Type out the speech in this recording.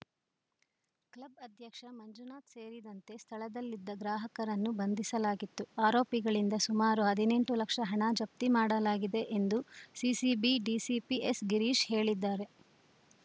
club ಅಧ್ಯಕ್ಷ ಮಂಜುನಾಥ್‌ ಸೇರಿದಂತೆ ಸ್ಥಳದಲ್ಲಿದ್ದ ಗ್ರಾಹಕರನ್ನು ಬಂಧಿಸಲಾಗಿದ್ದು ಆರೋಪಿಗಳಿಂದ ಸುಮಾರು ಹದಿನೆಂಟು ಲಕ್ಷ ಹಣ ಜಪ್ತಿ ಮಾಡಲಾಗಿದೆ ಎಂದು ಸಿಸಿಬಿ ಡಿಸಿಪಿ ಎಸ್‌ಗಿರೀಶ್‌ ಹೇಳಿದ್ದಾರೆ